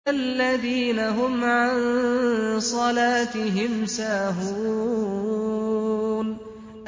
الَّذِينَ هُمْ عَن صَلَاتِهِمْ سَاهُونَ